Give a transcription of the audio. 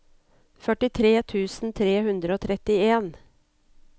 førtitre tusen tre hundre og trettien